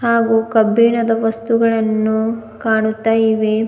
ಹಾಗು ಕಬ್ಬಿಣದ ವಸ್ತುಗಳನ್ನು ಕಾಣುತ್ತಾ ಇವೆ.